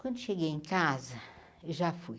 Quando cheguei em casa, eu já fui.